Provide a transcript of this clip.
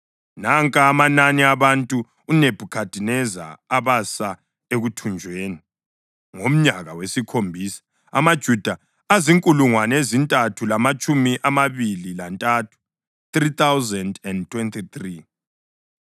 Nanka amanani abantu uNebhukhadineza abasa ekuthunjweni: ngomnyaka wesikhombisa, amaJuda azinkulungwane ezintathu lamatshumi amabili lantathu (3,023);